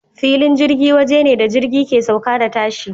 Filin jirgi waje ne da jirgi ke sauka da tashi.